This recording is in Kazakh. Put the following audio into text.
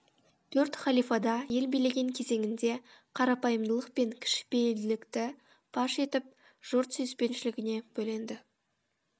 төрт халифада ел билеген кезеңінде қарапайымдылық пен кішіпейілділікті паш етіп жұрт сүйіспеншілігіне бөленді